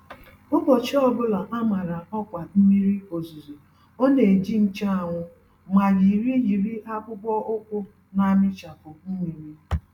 Ụbọchị ọbula a màrà ọkwa mmiri ozuzo ọ neji nche anwụ, ma yiri yiri akpụkpọ ụkwụ namịchapụ mmiri.